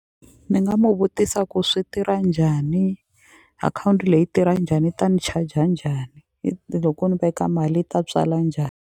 Ni nga mu vutisa ku swi tirha njhani akhawunti leyi tirha njhani yi ta ni charger njhani loko ni veka mali yi ta tswala .